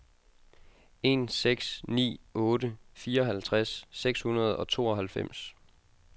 en seks ni otte fireoghalvtreds seks hundrede og tooghalvfems